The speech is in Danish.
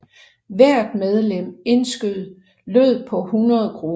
Hvert medlems indskud lød på 100 kroner